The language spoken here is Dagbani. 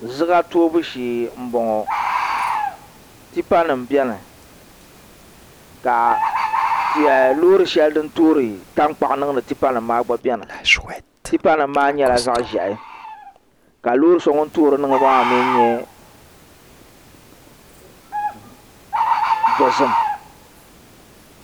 Ziɣa toobu shee n boŋo tipa nim biɛni ka loori shɛli din toori tankpaɣu gba niŋdi tipa nim maa ni gba biɛni tipa nim maa nyɛla zaɣ ʒiɛhi ka loori shɛli din toori niŋdi ba maa mii nyɛ zaɣ dozim